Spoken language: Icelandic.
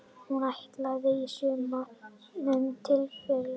Hún er ættlæg í sumum tilfellum.